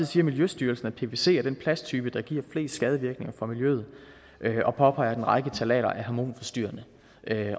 siger miljøstyrelsen at pvc er den plasttype der giver flest skadevirkninger for miljøet og påpeger at en række ftalater er hormonforstyrrende